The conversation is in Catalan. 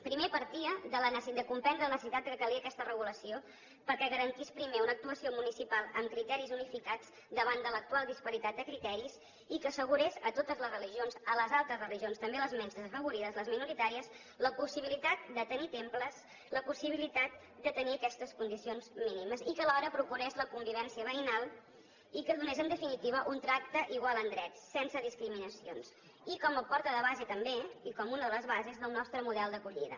primer partia de comprendre la necessitat que calia aquesta regulació perquè garantís primer una actuació municipal amb criteris unificats davant de l’actual disparitat de criteris i que assegurés a totes les religions a les altres religions també a les menys afavorides les minoritàries la possibilitat de tenir temples la possibilitat de tenir aquestes condicions mínimes i que alhora procurés la convivència veïnal i que donés en definitiva un tracte igual en drets sense discriminacions i com a porta de base també i com una de les bases del nostre model d’acollida